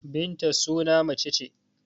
Binta suna mace ce.